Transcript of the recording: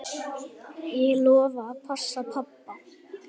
Ég lofa að passa pabba.